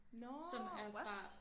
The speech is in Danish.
Nå what!